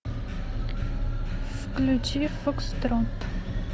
включи фокстрот